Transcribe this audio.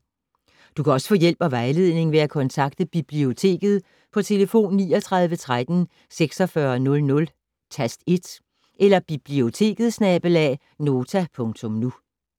Du kan også få hjælp og vejledning ved at kontakte Biblioteket på tlf. 39 13 46 00, tast 1 eller biblioteket@nota.nu